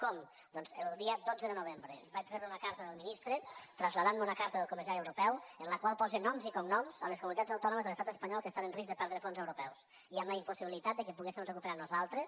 com doncs el dia dotze de novembre vaig rebre una carta del ministre en què em traslladava una carta del comissari europeu en la qual posa noms i cognoms a les comunitats autònomes de l’estat espanyol que estan en risc de perdre fons europeus i amb la impossibilitat que poguéssim recuperar nosaltres